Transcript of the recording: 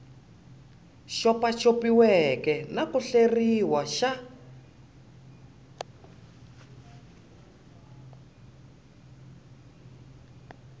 xopaxopiweke na ku hleriwa xa